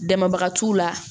Dama t'u la